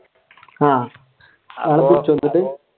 ആഹ്